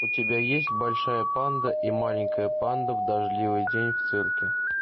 у тебя есть большая панда и маленькая панда в дождливый день в цирке